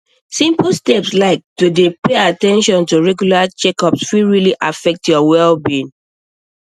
simple steps like to dey pay at ten tion to regular checkups fit really affect your wellbeing